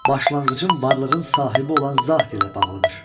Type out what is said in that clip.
Başlanğıcım varlığın sahibi olan zat ilə bağlıdır.